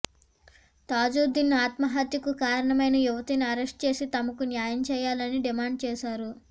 తాజుద్దీన్ ఆత్మహత్యకు కారణమైన యువతిని అరెస్ట్ చేసి తమకు న్యాయం చేయాలని డిమాండ్ చేశారు